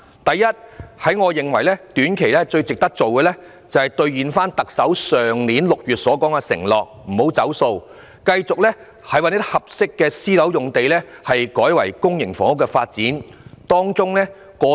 第一，我認為短期最值得做的，就是兌現特首去年6月作出的承諾，繼續把合適的私樓用地改為發展公營房屋。